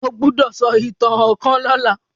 o gbódò so ìtàn kán lọla.